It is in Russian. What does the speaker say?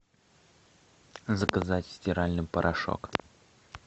заказать стиральный порошок